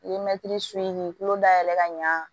I ye mɛtiri su ni kulo dayɛlɛ ka ɲa